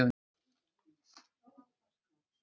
Fimm leikir eru á dagskránni hér á landi í dag.